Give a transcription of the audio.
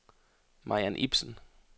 Mariann Ipsen